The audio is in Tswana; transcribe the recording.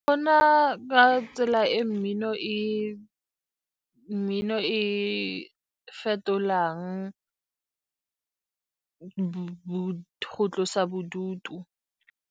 Go na ka tsela e mmino e fetolang go tlosa bodutu.